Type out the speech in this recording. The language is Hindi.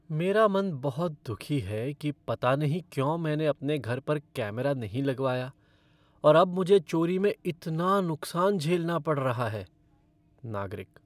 मेरा मन बहुत दुखी है कि पता नहीं क्यों मैंने अपने घर पर कैमरा नहीं लगवाया और अब मुझे चोरी में इतना नुकसान झेलना पड़ रहा है। नागरिक